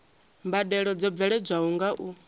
mbadelo dzo bveledzwaho nga u